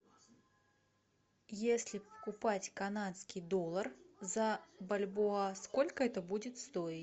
если покупать канадский доллар за бальбоа сколько это будет стоить